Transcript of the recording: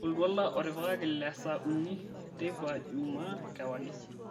oltuala otipikaki le saa uni teipa jumaa kewarie